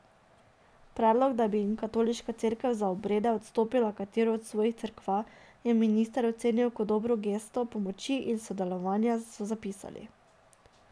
Predlog, da bi jim Katoliška cerkev za obrede odstopila katero od svojih cerkva, je minister ocenil kot dobro gesto pomoči in sodelovanja, so zapisali.